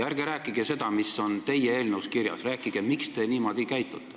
Ärge rääkige sellest, mis on teie eelnõus kirjas, rääkige, miks te niimoodi käitute.